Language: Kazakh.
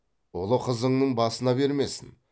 ұлы қызыңның басына бермесін